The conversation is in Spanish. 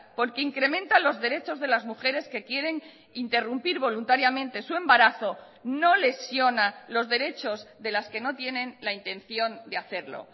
porque incrementa los derechos de las mujeres que quieren interrumpir voluntariamente su embarazo no lesiona los derechos de las que no tienen la intención de hacerlo